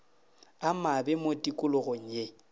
a mabe mo tikologong ye